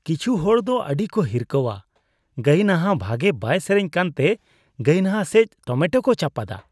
ᱠᱤᱪᱷᱩ ᱦᱚᱲ ᱫᱚ ᱟᱹᱰᱤᱠᱚ ᱦᱤᱨᱠᱷᱟᱹᱣᱟ ᱾ ᱜᱟᱭᱱᱟᱦᱟ ᱵᱷᱟᱜᱮ ᱵᱟᱭ ᱥᱮᱨᱮᱧ ᱠᱟᱱᱛᱮ ᱜᱟᱭᱱᱟᱦᱟ ᱥᱮᱡ ᱴᱚᱢᱮᱴᱳ ᱠᱚ ᱪᱟᱯᱟᱫᱟ ᱾